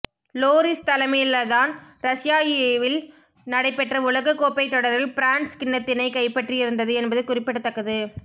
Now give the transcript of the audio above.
லோரிஸ் தலைமையிலதான் ரஸ்யாயாவில் நடைபெற்ற உலகக்கோப்பை தொடரில் பிரான்ஸ் கிண்ணத்தினைக் கைப்பற்றியிருந்தது என்பது குறிப்பிடத்தக்கது